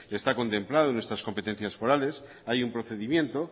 está contemplado en nuestras competencias forales hay un procedimiento